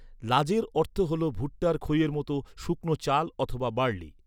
লাজের অর্থ হলো ভুট্টার খইয়ের মতো শুকনো চাল অথবা বার্লি।